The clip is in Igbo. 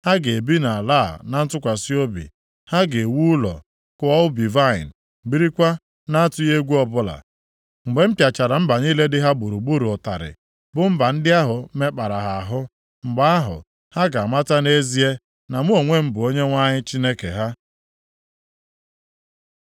Ha ga-ebi nʼala a na ntụkwasị obi. Ha ga-ewu ụlọ, kụọ ubi vaịnị, birikwa na-atụghị egwu ọbụla. Mgbe m pịachara mba niile dị ha gburugburu ụtarị, bụ mba ndị ahụ mekpara ha ahụ, mgbe ahụ, ha ga-amata nʼezie na mụ onwe m bụ Onyenwe anyị Chineke ha.’ ”